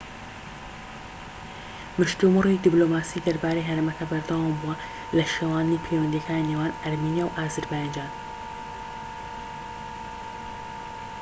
مشتومڕی دیبلۆماسی دەربارەی هەرێمەکە بەردەوامبووە لە شێواندنی پەیوەندیەکانی نێوان ئەرمینیا و ئازەربایجان